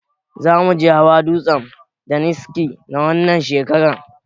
Zamuje hawa dutsen daniski na wannan shekarar